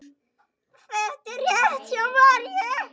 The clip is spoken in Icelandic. Það er rétt hjá Maríu.